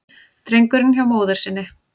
Drengurinn hjá móður sinni